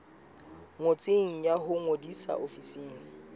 ngotsweng ya ho ngodisa ofising